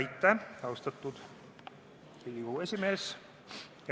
Aitäh, austatud Riigikogu esimees!